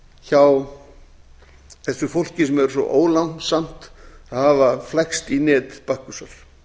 hjá þessu fólki sem er svo ólánsamt að hafa flækst í net bakkusar